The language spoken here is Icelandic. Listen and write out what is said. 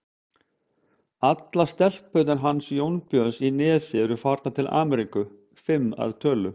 Allar stelpurnar hans Jónbjörns í Nesi eru farnar til Ameríku, fimm að tölu.